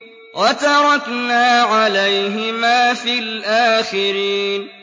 وَتَرَكْنَا عَلَيْهِمَا فِي الْآخِرِينَ